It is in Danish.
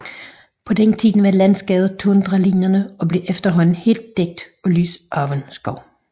På den tid var landskabet tundralignende og blev efterhånden helt dækket af lysåben skov